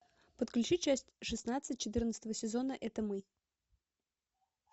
подключи часть шестнадцать четырнадцатого сезона это мы